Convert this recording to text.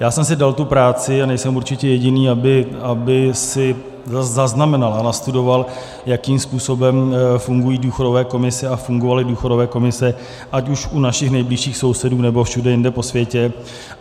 Já jsem si dal tu práci, a nejsem určitě jediný, abych si zaznamenal a nastudoval, jakým způsobem fungují důchodové komise a fungovaly důchodové komise, ať už u našich nejbližších sousedů, nebo všude jinde po světě.